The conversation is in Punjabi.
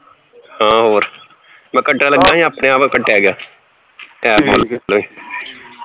ਹਾਂ ਹੋਰ ਮੈਂ ਕੱਟਣ ਲੱਗਿਆ ਹੀ ਆਪਣੇ ਆਪ ਈ ਕੱਟਿਆ ਗਿਆ